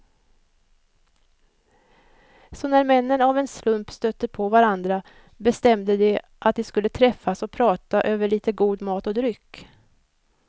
Så när männen av en slump stötte på varandra bestämde de att de skulle träffas och prata över lite god mat och dryck.